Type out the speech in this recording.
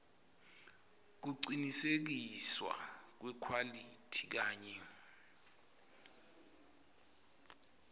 kucinisekiswa kwekhwalithi kanye